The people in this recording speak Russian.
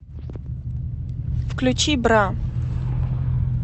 включи бра